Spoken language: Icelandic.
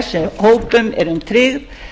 sem þessum hópum eru tryggð